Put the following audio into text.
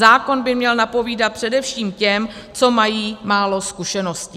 Zákon by měl napovídat především těm, co mají málo zkušeností.